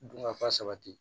Dunkafa sabati